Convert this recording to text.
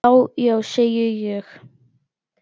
Já, já, segi ég.